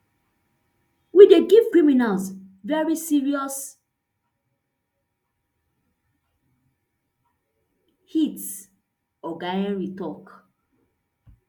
we dey give criminals very serious hit oga henry tok